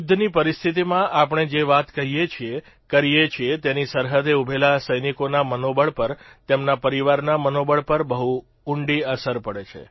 યુદ્ધની પરિસ્થિતીમાં આપણે જે વાત કહીએ છીએ કરીએ છીએ તેની સરહદે ઉભેલા સૈનિકોના મનોબળ પર તેમના પરિવારના મનોબળ પર બહુ ઉંડી અસર પડે છે